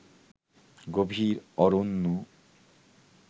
গভীর অরণ্যে